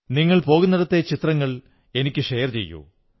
നിങ്ങൾ പോകുന്നിടത്തെ ചിത്രങ്ങൾ എനിക്കു ഷെയർ ചെയ്യൂ